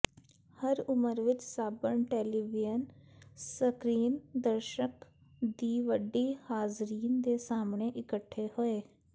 ਹਰ ਉਮਰ ਵਿਚ ਸਾਬਣ ਟੈਲੀਵੀਯਨ ਸਕਰੀਨ ਦਰਸ਼ਕ ਦੀ ਵੱਡੀ ਹਾਜ਼ਰੀਨ ਦੇ ਸਾਹਮਣੇ ਇਕੱਠੇ ਹੋਏ